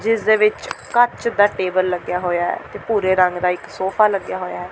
ਜਿਸ ਦੇ ਵਿਚ ਕੱਚ ਦਾ ਟੇਬਲ ਲੱਗਿਆ ਹੋਇਆ ਹੈ ਤੇ ਭੂਰੇ ਰੰਗ ਦਾ ਇੱਕ ਸੋਫਾ ਲੱਗਿਆ ਹੋਇਆ ਹੈ।